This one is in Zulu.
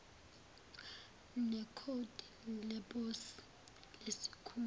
nekhodi leposi lesikhungu